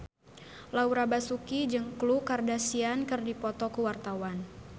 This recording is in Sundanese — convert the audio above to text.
Laura Basuki jeung Khloe Kardashian keur dipoto ku wartawan